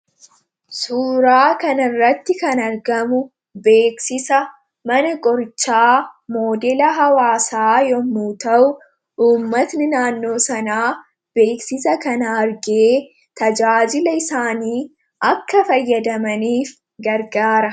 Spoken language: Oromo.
Suuraa kanaa gadii irratti kan argamu beeksisa mana qorichaa moodela hawwaasaa yammuu ta'uu uummatni naannoo sanaa beeksisa kana argee akka itti tajaajilamaniif gargaara.